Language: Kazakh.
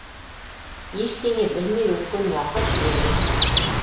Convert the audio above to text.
ештеңе білмей өткен уақыт өлген уақыт